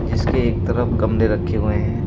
इसके एक तरफ गमले रखे हुए हैं।